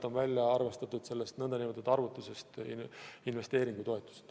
Tõsi, sellest arvestusest on välja arvatud investeeringutoetused.